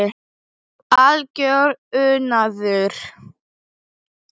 Algjör unaður.